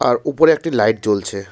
আর উপরে একটি লাইট জ্বলছে।